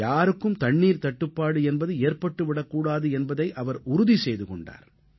யாருக்கும் தண்ணீர்த் தட்டுப்பாடு என்பது ஏற்பட்டு விடக் கூடாது என்பதை அவர் உறுதி செய்து கொண்டார்